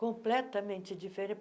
Completamente